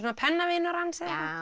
pennavinur hans eða